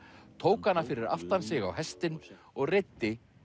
tók hana fyrir aftan sig á hestinn og reiddi